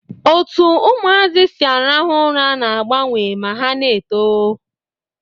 Otu ụmụazị si arahu ura n'agabnwe ma ha n'eto